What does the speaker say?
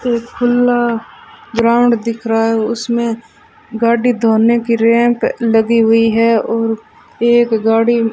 एक खुला ग्राउंड दिख रहा है उसमें गाड़ी धोने की रैंप लगी हुई है और एक गाड़ी --